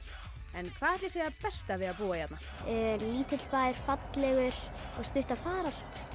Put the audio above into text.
en hvað ætli sé það besta við að búa hérna lítill bær fallegur og stutt að fara allt